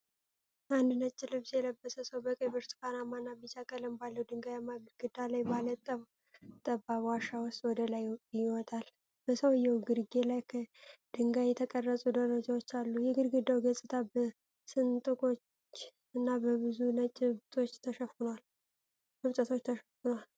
አንድ ነጭ ልብስ የለበሰ ሰው በቀይ፣ ብርቱካናማና ቢጫ ቀለም ባለው ድንጋያማ ግድግዳ ላይ ባለ ጠባብ ዋሻ ውስጥ ወደ ላይ ይወጣል። በሰውየው ግርጌ ላይ ከድንጋይ የተቀረጹ ደረጃዎች አሉ። የግድግዳው ገጽታ በስንጥቆች እና በብዙ ነጭ እብጠቶች ተሸፍኗል።